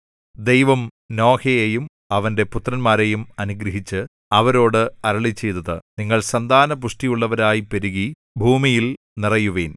ദൈവം നോഹയെയും അവന്റെ പുത്രന്മാരെയും അനുഗ്രഹിച്ച് അവരോട് അരുളിച്ചെയ്തത് നിങ്ങൾ സന്താന പുഷ്ടിയുള്ളവരായി പെരുകി ഭൂമിയിൽ നിറയുവിൻ